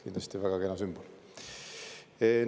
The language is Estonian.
Kindlasti väga kena sümbol!